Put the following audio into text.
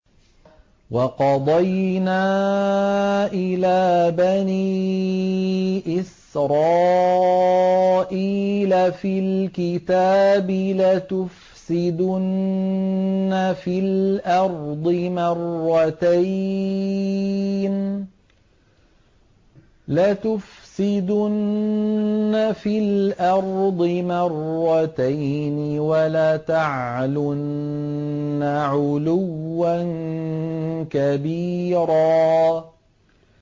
وَقَضَيْنَا إِلَىٰ بَنِي إِسْرَائِيلَ فِي الْكِتَابِ لَتُفْسِدُنَّ فِي الْأَرْضِ مَرَّتَيْنِ وَلَتَعْلُنَّ عُلُوًّا كَبِيرًا